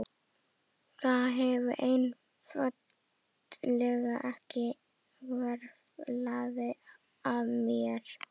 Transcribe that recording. Það hafði einfaldlega ekki hvarflað að mér.